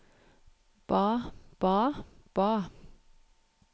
ba ba ba